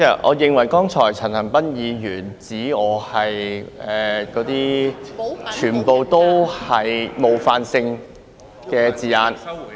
我認為陳恒鑌議員剛才指我是......那些全部都是冒犯性的字眼。